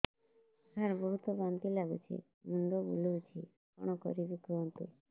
ସାର ବହୁତ ବାନ୍ତି ଲାଗୁଛି ମୁଣ୍ଡ ବୁଲୋଉଛି କଣ କରିବି କୁହନ୍ତୁ